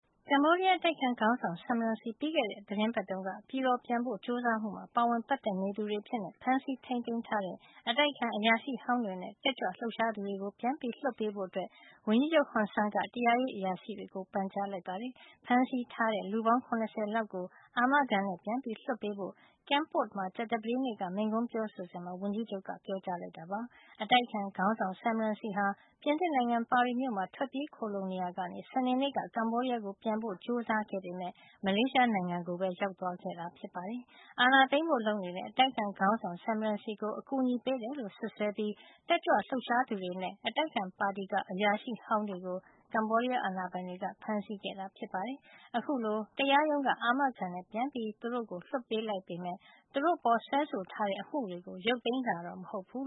ကမ္ဘောဒီးယား အတိုက်အခံ ခေါင်းဆောင် Sam Rainsy ပြီးခဲ့တဲ့ သီတင်းပတ်တုန်းက ပြည်တော်ပြန်ဖို့ ကြိုးစားမှု မှာ ပါဝင်ပတ်သက် နေသူတွေ အဖြစ် ဖမ်းဆီးထိန်းသိမ်း ထားတဲ့ အတိုက်အခံ အရာရှိဟောင်းတွေ နဲ့ တက်ကြွလှုပ်ရှားသူတွေကို ပြန်လွတ်ပေးဖို့ ဝန်ကြီးချုပ် ဟွန်ဆန်းက တရားရေးအရာရှိတွေ ကို ပန်ကြားလိုက်ပါတယ်။ ဖမ်းဆီးထားတဲ့ လူပေါင်း ၇၀ လောက် ကို အာမခံနဲ့ ပြန်လွှတ်ပေးဖို့ Kampot မှာ ကြာသပတေးနေ့ က မိန့်ခွန်းပြောဆိုစဉ်မှာ ဝန်ကြီးချုပ်က ပြောကြားလိုက်တာပါ။ အတိုက်အခံ ခေါင်းဆောင် Sam Rainsy ဟာ ပြင်သစ်နိုင်ငံ ပါရီမြို့မှာ ထွက်ပြေးခိုလှုံနေရာကနေ စနေနေ့က ကမ္ဘောဒီးယားကို ပြန်ဖို့ ကြိုစားခဲ့ပေမယ့် မလေးရှားကိုပဲ ရောက်သွားခဲ့တာ ဖြစ်ပါတယ်။ အာဏာသိမ်းဖို့ လုပ်နေတဲ့ အတိုက်အခံ ခေါင်းဆောင် Sam Rainsy ကို အကူအညီပေးတယ်လို့ စွပ်စွဲပြီး တက်ကြွလှုပ်ရှားသူတွေနဲ့ အတိုက်အခံ ပါတီက အရာရှိဟောင်းတွေကို ကမ္ဘောဒီးယား အာဏာပိုင်တွေက ဖမ်းဆီးခဲ့တာ ဖြစ်ပါတယ်။ အခုလို တရားရုံးက အာမခံနဲ့ လွှတ်ပေးလိုက်ပေမယ့် သူတို့ အပေါ်စွဲဆို ထားတဲ့အမှုတွေကို ရုတ်သိမ်းတာတော့ မဟုတ်ပါဘူး